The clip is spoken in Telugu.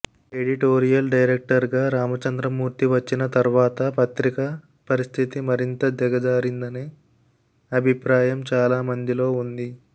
ఎడిటోరియల్ డైరక్టర్గా రామచంద్రమూర్తి వచ్చిన తర్వాత పత్రిక పరిస్థితి మరింత దిగజారిందనే అభిప్రాయం చాలా మందిలో ఉంది